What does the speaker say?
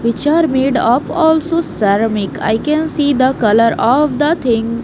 Which are made of also ceramic i can see the color of the things.